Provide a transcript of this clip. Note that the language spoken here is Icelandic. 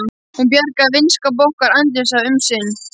Hún bjargaði vinskap okkar Arndísar um sinn.